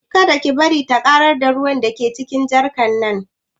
Kada ki bari ta ƙarar da ruwan da ke cikin jarkar nan